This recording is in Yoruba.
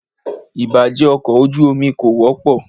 Ìbàjé ọkọ̀ ojú omi kò wọ́pọ̀.